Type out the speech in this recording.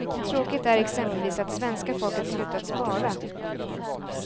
Tråkigt är exempelvis att svenska folket slutat spara.